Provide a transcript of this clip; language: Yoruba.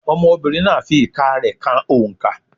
Ọmọbìnrin náà fi ìka rẹ ka oǹkà.